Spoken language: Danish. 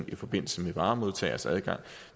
i forbindelse med varemodtagers adgang